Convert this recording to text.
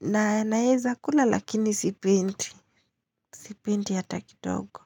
Na, naeza kula lakini sipendi. Sipendi hata kidogo.